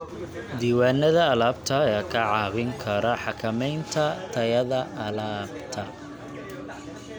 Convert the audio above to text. Diiwaanada alaabta ayaa kaa caawin kara xakamaynta tayada alaabta.